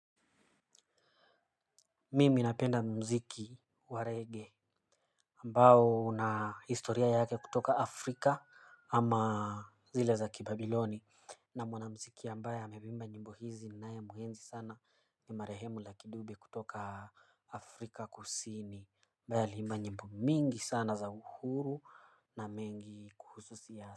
Mimi napenda mziki wa reggae ambao una historia yake kutoka Afrika. Ama zile za kibabiloni. Na mwana mziki ambaye ameimba nyimbo hizi ninae muhenzi sana. Ni marehemu Lucky Dube kutoka Afrika Kusini, ambaye aliimba nyimbo nyingi sana za uhuru na mengi kuhusu siasa.